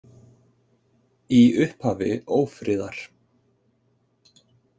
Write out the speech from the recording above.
Í upphafi ófriðar